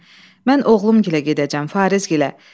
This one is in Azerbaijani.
Səkinə, mən oğlumgilə gedəcəm, Farizgilə.